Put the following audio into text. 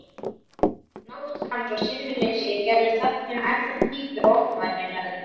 Návist hans og sinnuleysi gerðu þögnina ennþá dýpri og ógnvænlegri.